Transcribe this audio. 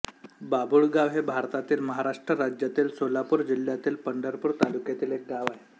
बाभुळगाव हे भारतातील महाराष्ट्र राज्यातील सोलापूर जिल्ह्यातील पंढरपूर तालुक्यातील एक गाव आहे